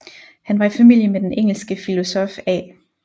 Han var i familie med den engelske filosof A